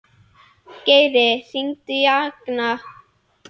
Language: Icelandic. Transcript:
Geri, hringdu í Agna.